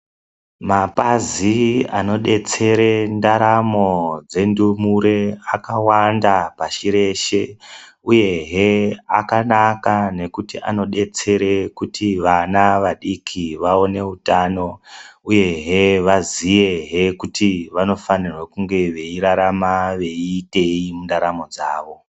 Mapazi anodetsere ndaramo dzendumure akawanda pashi reshe, uyehe akanaka nokuti anodetsere kuti vana vadiki vawone utano uyehe vaziyehe kuti vanofanirwa kunge veyirarama veyiiteyi mundaramo dzavo.